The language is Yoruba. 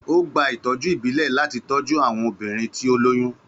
Ó gba ìtọ́jú ìbílẹ̀ láti tọ́jú àwọn obìnrin tí ó lóyún.